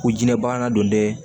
Ko jinɛ banna don dɛ